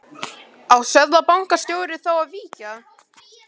Á seðlabankastjóri þá að víkja?